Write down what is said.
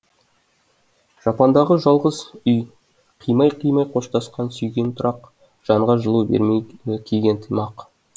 жапандағы жалғыз үи қимай қимай қоштасқан сүйген тұрақ жанға жылу бермейді киген тымақ